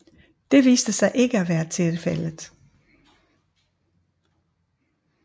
Dette viste sig ikke at være tilfældet